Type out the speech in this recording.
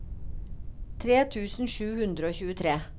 tre tusen sju hundre og tjuetre